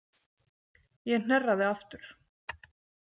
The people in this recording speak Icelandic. Ég hnerraði aftur.